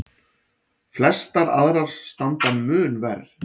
Flestar aðrar standa mun verr.